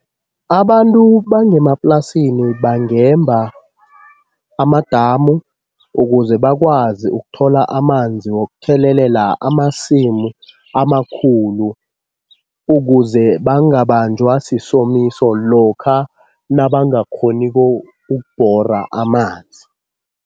Abantu bangemaplasini bangemba amadamu ukuze bakwazi ukuthola amanzi wokuthelelela amasimu amakhulu, ukuze bangabanjwa sisomiso lokha nabangakghoniko ukubhora amanzi.